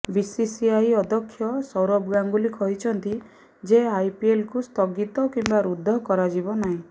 BCCI ଅଧ୍ୟକ୍ଷ ସୌରଭ ଗାଙ୍ଗୁଲି କହିଛନ୍ତି ଯେ ଆଇପିଏଲକୁ ସ୍ଥଗିତ କିମ୍ବା ରବ୍ଦ କରାଯିବ ନାହିଁ